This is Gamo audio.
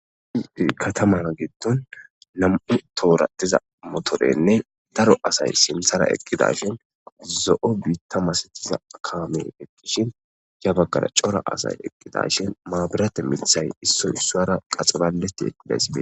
D katamana gindon nam'u tooratiza motorenne daro asay sinthara eqqida shin zo'o biitta masetiza kame ekkishin ya baggala cora asay eqqidashin maabirate mithay issoy sara qaxibaleti desie.